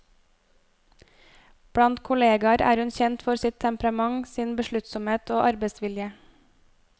Blant kollegar er hun kjent for sitt temperament, sin besluttsomhet og arbeidsvilje.